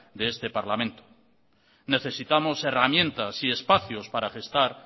de este parlamento necesitamos herramientas y espacios para gestar